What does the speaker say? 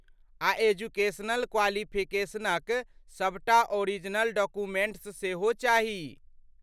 आ एजुकेशनल क्वालिफिकेशनक सबटा ओरिजिनल डॉक्यूमेंट्स सेहो चाही।